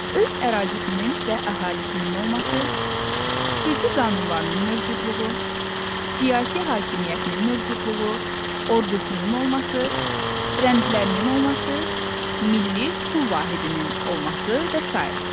Öz ərazisinin və əhalisinin olması, xüsusi qanunlarının mövcudluğu, siyasi hakimiyyətinin mövcudluğu, ordusunun olması, rəmzlərinin olması, milli pul vahidinin olması və sair.